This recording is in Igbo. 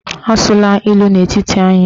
Asụla ilu n'etiti anyị echi!